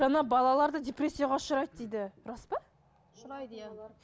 жаңа балаларды депрессияға ұшырайды дейді рас па ұшырайды иә